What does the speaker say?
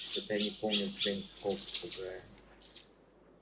что-то я не помню у тебя никакого попугая